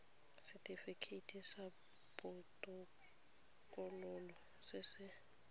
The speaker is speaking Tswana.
setifikeiti sa botokololo se se